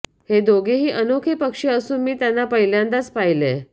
हे दोघेही अनोखे पक्षी असून मी त्यांना पहिल्यांदाच पाहिलंय